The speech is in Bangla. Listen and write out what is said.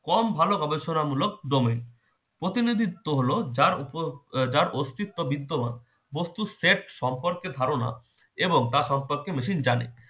কম ভালো গবেষণামূলক দমে প্রতিনিধিত্ব হলো যার উপর আহ যার অস্তিত্ব বিদ্যমান বস্তুর set সম্পর্কে ধারনা এবং তা সম্পর্কে machine জানে